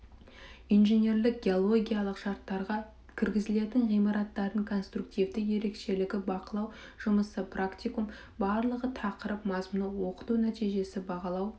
инженерлік геологиялық шарттарға кіргізілетін ғимараттардың конструктивті ерекшелігі бақылау жұмысы практикум барлығы тақырып мазмұны оқыту нәтижесі бағалау